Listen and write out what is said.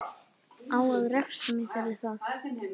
Á að refsa mér fyrir það?